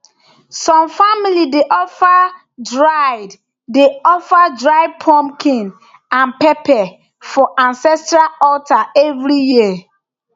some family dey offer dried dey offer dried pumpkin and pepper for ancestral altar every year